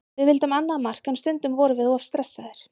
Við vildum annað mark en stundum vorum við of stressaðir.